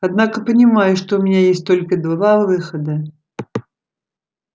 однако понимаю что у меня есть только два выхода